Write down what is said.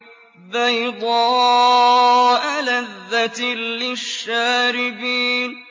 بَيْضَاءَ لَذَّةٍ لِّلشَّارِبِينَ